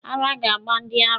Ara ga-agba ndị ara.